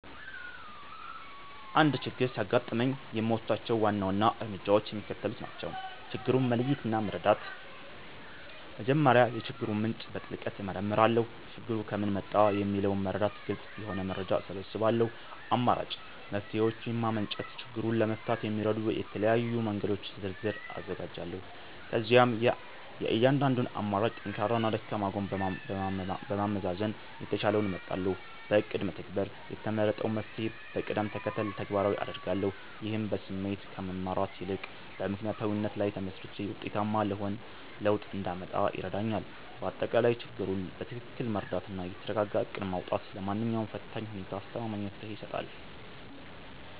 አንድ ችግር ሲያጋጥመኝ የምወስዳቸው ዋና ዋና እርምጃዎች የሚከተሉት ናቸው፦ ችግሩን መለየትና መረዳት፦ መጀመሪያ የችግሩን ምንጭ በጥልቀት እመረምራለሁ። ችግሩ ከምን መጣ? የሚለውን በመረዳት ግልጽ የሆነ መረጃ እሰበስባለሁ። አማራጭ መፍትሔዎችን ማመንጨት፦ ችግሩን ለመፍታት የሚረዱ የተለያዩ መንገዶችን ዝርዝር አዘጋጃለሁ። ከዚያም የእያንዳንዱን አማራጭ ጠንካራና ደካማ ጎን በማመዛዘን የተሻለውን እመርጣለሁ። በእቅድ መተግበር፦ የተመረጠውን መፍትሔ በቅደም ተከተል ተግባራዊ አደርጋለሁ። ይህም በስሜት ከመመራት ይልቅ በምክንያታዊነት ላይ ተመስርቼ ውጤታማ ለውጥ እንዳመጣ ይረዳኛል። ባጠቃላይ፣ ችግሩን በትክክል መረዳትና የተረጋጋ እቅድ ማውጣት ለማንኛውም ፈታኝ ሁኔታ አስተማማኝ መፍትሔ ይሰጣል።